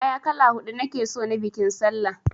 Kaya kala huɗu nake son na biƙin sallah!